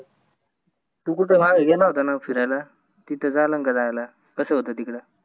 तू कुठं बाहेर गेला होता न फिरायला तित चालल का जायला कस होत तिकड